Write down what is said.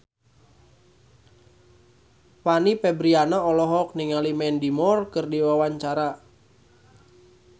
Fanny Fabriana olohok ningali Mandy Moore keur diwawancara